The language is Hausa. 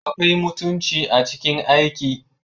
Akwai mutunci a cikin aiki